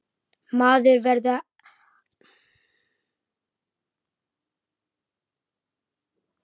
Maður verður að gera eitthvað jákvætt.